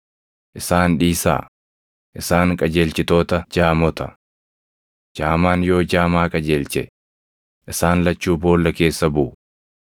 Isaan dhiisaa; isaan qajeelchitoota jaamota. Jaamaan yoo jaamaa qajeelche, isaan lachuu boolla keessa buʼu.”